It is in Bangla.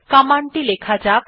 কমান্ড টি লেখা যাক